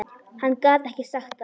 Hann gat ekki sagt það.